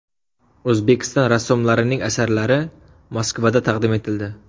O‘zbekiston rassomlarining asarlari Moskvada taqdim etildi.